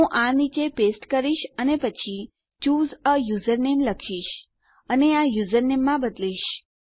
હું આ નીચે પેસ્ટ કરીશ અને પછી ચૂસે એ યુઝરનેમ લખીશ અને આ યુઝરનેમ માં બદલીશ